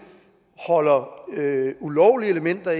holder ulovlige elementer